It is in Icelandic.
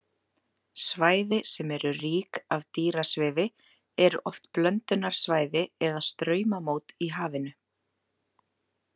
Svæði sem eru rík af dýrasvifi eru oft blöndunarsvæði eða straumamót í hafinu.